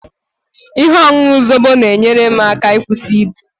Ihe ọṅụṅụ Zobo na-enyere m aka ịkwụsị ibu